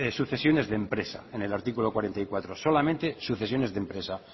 sucesiones de empresa en el artículo cuarenta y cuatro solamente sucesiones de empresa